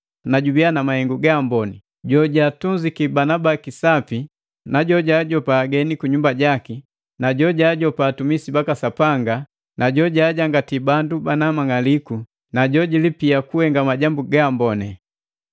na jubiya na mahengu gaamboni: Jojaatunziki banabaki sapi, jojaajopiki ageni kunyumba jaki, jojaajopa atumisi baka Sapanga, jojajangatiya bandu bana mang'aliku, na jojilipia kuhenga majambu gaamboni.